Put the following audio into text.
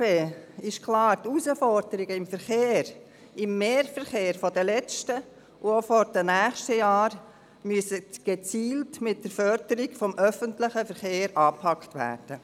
Für die SP ist klar: Die Herausforderungen im Verkehr, im Mehrverkehr der letzten und auch der nächsten Jahre, müssen gezielt mit der Förderung des öffentlichen Verkehrs angepackt werden.